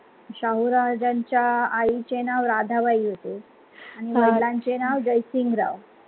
शाहू राजांच्या आईचे नाव राधाबाई होते आणि वडिलांचे नाव जयसिंगराव